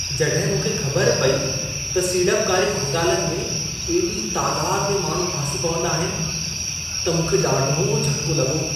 जॾहिं मूंखे ख़बर पई त सीड़पकारी घोटालनि में एॾी तादाद में माण्हू फासी पवंदा आहिनि, त मूंखे ॾाढो झटिको लॻो।